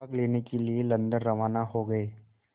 भाग लेने के लिए लंदन रवाना हो गए